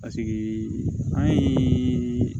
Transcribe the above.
Paseke an ye